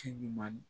Ci ɲuman